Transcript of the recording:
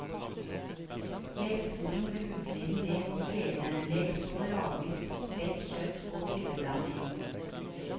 Legg svoren med utsiden ned mot kledet, legg så lagvis spekk, kjøtt og krydderblanding.